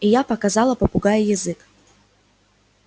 и я показала попугаю язык